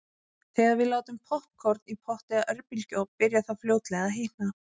Þegar við látum poppkorn í pott eða örbylgjuofn byrjar það fljótlega að hitna.